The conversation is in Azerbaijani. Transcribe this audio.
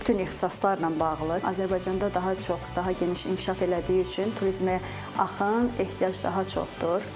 Bütün ixtisaslarla bağlı Azərbaycanda daha çox, daha geniş inkişaf elədiyi üçün turizmə axın, ehtiyac daha çoxdur.